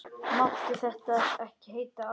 Máttu þetta ekki heita álög?